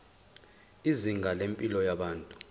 izinga lempilo yabantu